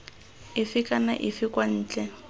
efe kana efe kwa ntle